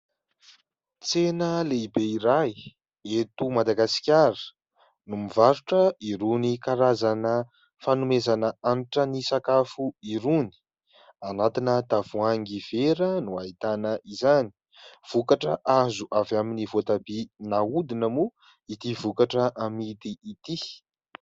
Tsena lehibe iray eto Madagasikara no mivarotra irony karazana fanomezana hanitra ny sakafo irony. Anatina tavoahangy vera no ahitana izany. Vokatra azo avy amin'ny voatabia nahodina moa ity vokatra amidy ity.